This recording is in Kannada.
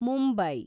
ಮುಂಬೈ